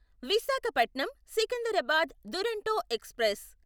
Visakhapatnam Secunderabad Duronto express